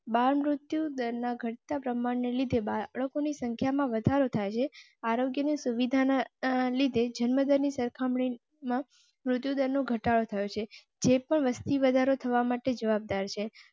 બાળ મૃત્યુદર ઘટ તાં પ્રમાણ ને લીધે બાળકો ની સંખ્યા માં વધારો થાય છે. આરોગ્ય ની સુવિધા ના લીધે જન્મ ની સરખામણી મૃત્યુ નો ઘટાડો થયો છે. જે પણ વસ્તી વધારો થવા માટે જવાબદાર છે.